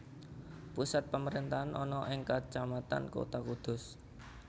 Pusat pemerintahan ana ing Kacamatan Kota Kudus